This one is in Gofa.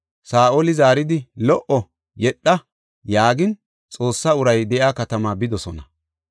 Saa7oli zaaridi, “Lo77o; yedha” yaagin, Xoossa uray de7iya katamaa bidosona.